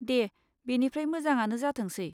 दे बेनिफ्राय मोजाङानो जाथोंसै।